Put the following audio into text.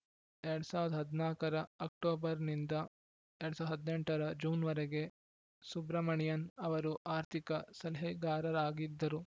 ಎರಡ್ ಸಾವಿರದ ಹದಿನಾಲ್ಕರ ಅಕ್ಟೋಬರ್‌ನಿಂದ ಎರಡ್ ಸಾವಿರದ ಹದಿನೆಂಟರ ಜೂನ್‌ವರೆಗೆ ಸುಬ್ರಮಣಿಯನ್‌ ಅವರು ಆರ್ಥಿಕ ಸಲಹೆಗಾರರಾಗಿದ್ದರು